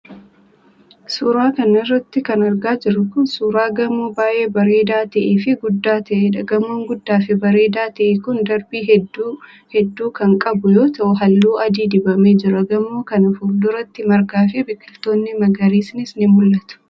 Suura kana irratti kan argaa jirru kun, suura gamoo baay'ee bareedaa ta'ee fi guddaa ta'eedha. Gamoon guddaa fi bareedaa ta'e kun, darbii hedduu hedduu kan qabu yoo ta'u, haalluu adii dibamee jira. Gamoo kana fuulduratti, margaa fi biqiloonni magariisnis ni mul'atu.